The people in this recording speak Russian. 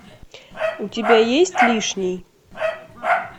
у тебя есть лишний